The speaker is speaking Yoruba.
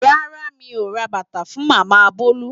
Rárá mi ò ra bàtà fún Màmá Bolu.